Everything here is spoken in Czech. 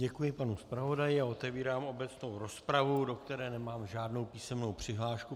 Děkuji panu zpravodaji a otevírám obecnou rozpravu, do které nemám žádnou písemnou přihlášku.